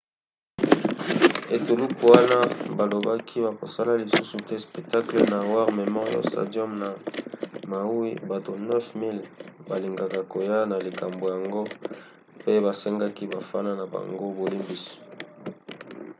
etuluku wana balobaki bakosala lisusu te spectacle na war memorial stadium ya maui; bato 9 000 balingaka koya na likambo yango pe basengaki bafana na bango bolimbisi